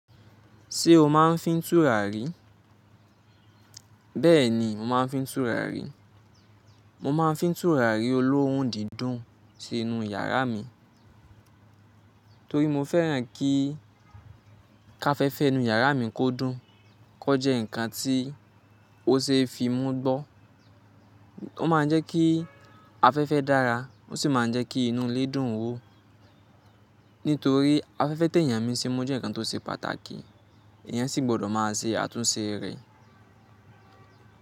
Ṣé o máa ń fi túrà rí? Bẹ́ẹ̀ni, mo máa ń fi túrà rí. Mo máa ń fi túràrí olóhun dídùn sínú yàrá mi, torí mo fẹ́ràn kí káfẹ́fẹ́ inú yàrá mi kó dùn, kó jẹ́ ǹkan tí ó ṣe é fi imú gbọ́. Ó máa ń jẹ́ kí afẹ́fẹ́ dára, ó sì máa ń jẹ́ kí inú ilé dùn ún wò. Nítorí afẹ́fẹ́ téèyàn mi ṣi mu jẹ́ ǹkan tó ṣe pàtàkì, èèyàn sì gbọ́dọ̀ máa ṣe àtúnṣe rẹ̀.